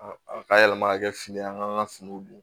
A ka yɛlɛma ka kɛ fini an k'an ka finiw don